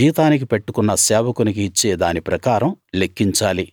జీతానికి పెట్టుకున్న సేవకునికి ఇచ్చే దాని ప్రకారం లెక్కించాలి